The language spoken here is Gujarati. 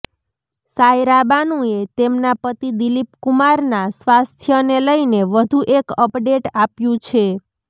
સાયરા બાનુએ તેમના પતિ દિલીપકુમારના સ્વાસ્થ્યને લઈને વધુ એક અપડેટ આપ્યું છે